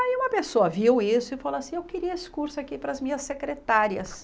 Aí uma pessoa viu isso e falou assim, eu queria esse curso aqui para as minhas secretárias.